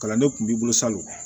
Kalanden kun b'i bolo salon